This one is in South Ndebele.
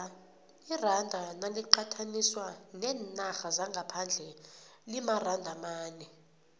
iranda naliqathaniswa neenarha zangaphandle limaranda amane